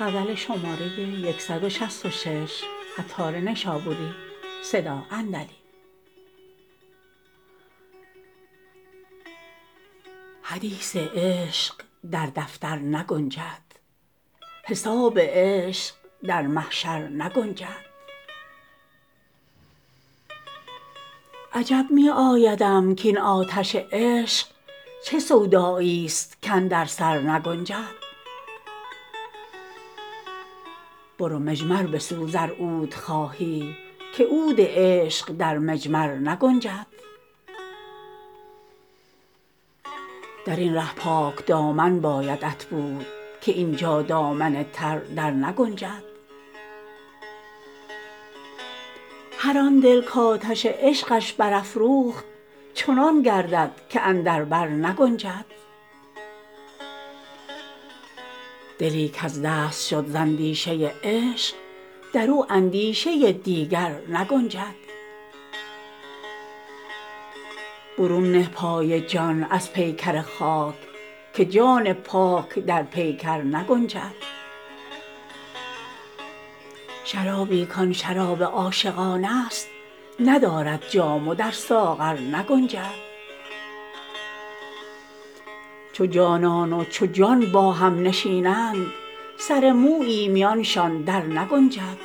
حدیث عشق در دفتر نگنجد حساب عشق در محشر نگنجد عجب می آیدم کین آتش عشق چه سودایی است کاندر سرنگنجد برو مجمر بسوز ار عود خواهی که عود عشق در مجمر نگنجد درین ره پاک دامن بایدت بود که اینجا دامن تر درنگنجد هر آن دل کآتش عشقش برافروخت چنان گردد که اندر بر نگنجد دلی کز دست شد زاندیشه عشق درو اندیشه دیگر نگنجد برون نه پای جان از پیکر خاک که جان پاک در پیکر نگنجد شرابی کان شراب عاشقان است ندارد جام و در ساغر نگنجد چو جانان و چو جان با هم نشینند سر مویی میانشان درنگنجد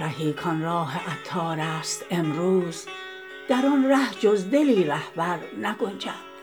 رهی کان راه عطار است امروز در آن ره جز دلی رهبر نگنجد